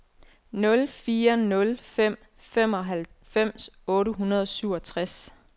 nul fire nul fem femoghalvfems otte hundrede og syvogtres